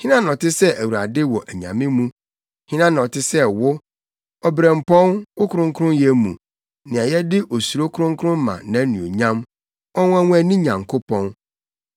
Hena na ɔte sɛ Awurade wɔ anyame mu? Hena na ɔte sɛ wo? Obirɛmpɔn, wɔ kronkronyɛ mu; nea yɛde osuro kronkron ma nʼanuonyam, Ɔnwonwani Nyankopɔn.